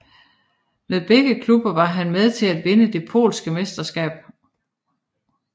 Med begge klubber var han med til at vinde det polske mesterskab